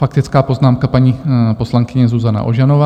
Faktická poznámka paní poslankyně Zuzana Ožanová.